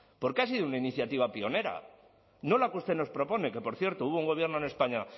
porque ha sido una iniciativa pionera no la que usted nos propone que por cierto hubo un gobierno en españa